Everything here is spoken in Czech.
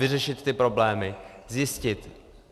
Vyřešit ty problémy, zjistit.